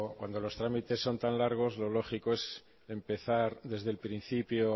cuando los trámites son tan largos lo lógico es empezar desde el principio